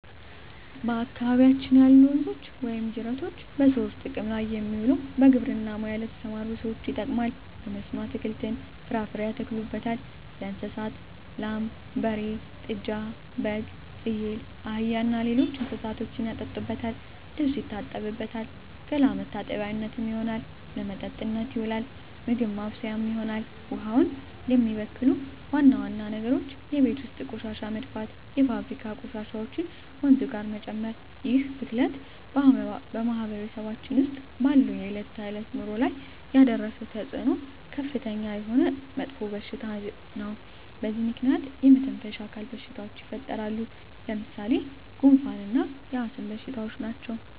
በአካባቢያችን ያሉ ወንዞች ወይም ጅረቶች በሰዎች ጥቅም ላይ የሚውለው በግብርና ሙያ ለተሠማሩ ሠዎች ይጠቅማል። በመስኖ አትክልትን፣ ፍራፍሬ ያተክሉበታል። ለእንስሳት ላም፣ በሬ፣ ጥጃ፣ በግ፣ ፍየል፣ አህያ እና ሌሎች እንስሶችን ያጠጡበታል፣ ልብስ ይታጠብበታል፣ ገላ መታጠቢያነት ይሆናል። ለመጠጥነት ይውላል፣ ምግብ ማብሠያ ይሆናል። ውሃውን የሚበክሉ ዋና ዋና ነገሮች የቤት ውስጥ ቆሻሻ መድፋት፣ የፋብሪካ ቆሻሾችን ወንዙ ጋር መጨመር ይህ ብክለት በማህበረሰባችን ውስጥ ባለው የዕለት ተዕለት ኑሮ ላይ ያደረሰው ተፅኖ ከፍተኛ የሆነ መጥፎሽታ በዚህ ምክንያት የመተነፈሻ አካል በሽታዎች ይፈጠራሉ። ለምሣሌ፦ ጉንፋ እና የአስም በሽታ ናቸው።